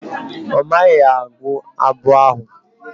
Ọ maghị agụ abụ ahụ.